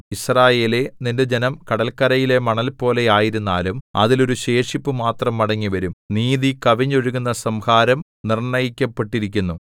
യിസ്രായേലേ നിന്റെ ജനം കടല്ക്കരയിലെ മണൽപോലെ ആയിരുന്നാലും അതിൽ ഒരു ശേഷിപ്പു മാത്രം മടങ്ങിവരും നീതി കവിഞ്ഞൊഴുകുന്ന സംഹാരം നിർണ്ണയിക്കപ്പെട്ടിരിക്കുന്നു